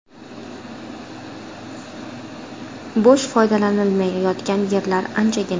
Bo‘sh, foydalanilmay yotgan yerlar anchagina.